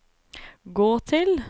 gå til